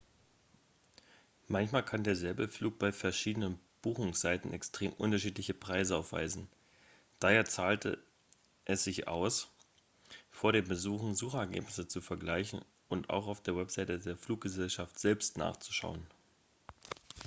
manchmal kann derselbe flug bei verschiedenen buchungsseiten extrem unterschiedliche preise aufweisen daher zahlt es sich aus vor dem buchen suchergebnisse zu vergleichen und auch auf der website der fluggesellschaft selbst nachzuschauen